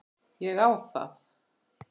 Ég á það.